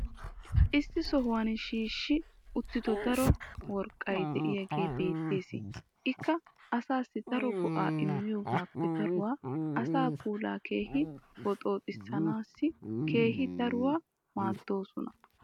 issi sohuwan shiishshi uttido daro worqqay diyaagee beetees. ikka asaassi daro go'aa immiyoogaappe daruwaa asaa puulaa keehi boxxooxxisanaassi keehi daruwaa maadoosona.